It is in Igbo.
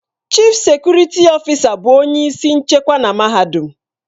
Chịf sekurịtị ọfịsa bụ onye isi nchekwa na mahadum.